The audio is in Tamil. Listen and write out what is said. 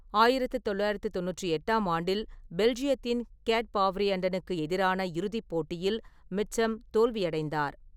ஆயிரத்து தொள்ளாயிரத்து தொண்ணூற்றி எட்டாம் ஆண்டில் பெல்ஜியத்தின் கேட்பாவ்ரியண்டனுக்கு எதிரான இறுதிப் போட்டியில் மிட்சம் தோல்வியடைந்தார்.